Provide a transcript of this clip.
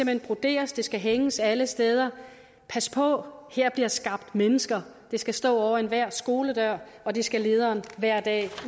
hen broderes det skal hænges op alle steder pas på her bliver skabt mennesker det skal stå over enhver skoledør og det skal lederen hver dag